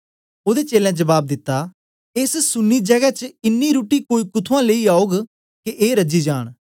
ओदे चेलें जबाब दिता एस सुनी जगै च इन्नी रुट्टी कोई कुत्थुआं लेई आऊग के ए रजी जान